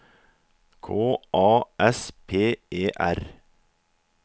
K A S P E R